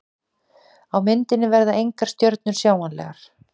Á myndinni verða engar stjörnur sjáanlegar.